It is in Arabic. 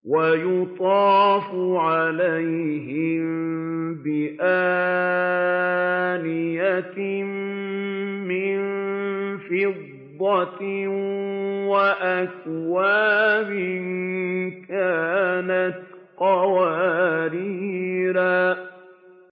وَيُطَافُ عَلَيْهِم بِآنِيَةٍ مِّن فِضَّةٍ وَأَكْوَابٍ كَانَتْ قَوَارِيرَا